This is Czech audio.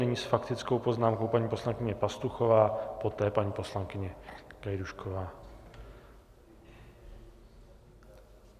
Nyní s faktickou poznámkou paní poslankyně Pastuchová, poté paní poslankyně Gajdůšková.